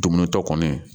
Dumunitɔ kɔni